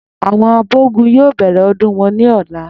Àwo̩n abò̩gún yóò bè̩rè̩ o̩dún wo̩n ní ò̩la